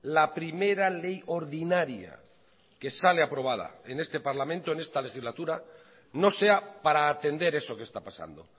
la primera ley ordinaria que sale aprobada en este parlamento en esta legislatura no sea para atender eso que está pasando